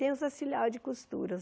Tem os auxiliares de costura.